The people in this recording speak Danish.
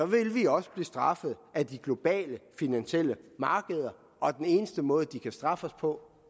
vil vi også blive straffet af de globale finansielle markeder og den eneste måde de kan straffe os på